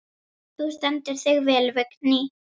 Þú stendur þig vel, Vigný!